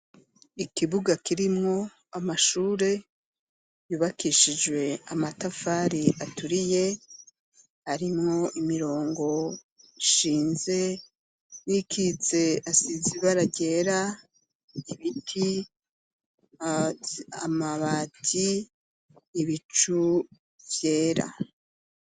Ishuri ryisumbuye rifise inyubako igeretse rimwe yubatse n'amatafarahiye ikaziye n'umusenyi n'isima rifise ubwugamo uri mwo abanyeshuri bambaye umwambaro w'ishuri isakaje amabati atukura.